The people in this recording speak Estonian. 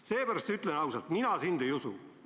Seepärast ütlen ausalt: mina sind ei usu!